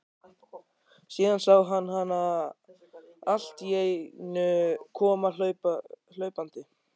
Síðan sá hann hana alltíeinu koma hlaupandi.